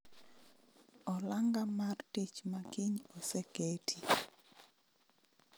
Olanga mar tich makiny oseketi